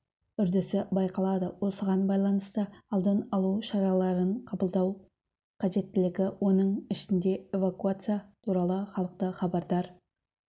үрдісі байқалады осыған байланысты алдын алу шараларын қабылдау қажеттілігі оның ішінде эвакуация туралы халықты хабардар